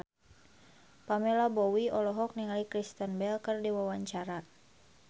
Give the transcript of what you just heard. Pamela Bowie olohok ningali Kristen Bell keur diwawancara